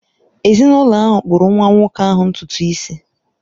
Ezinụlọ ahụ kpụrụ nwa nwoke ahụ ntutu isi